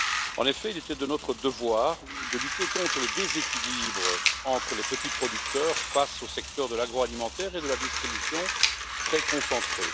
En effet, il était de notre devoir de lutter contre le déséquilibre entre les petits producteurs face aux secteurs de l'agroalimentaire et de la distribution, très concentrés.